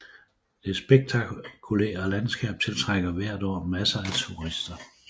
Det spektakulære landskab tiltrækker hvert år masser af turister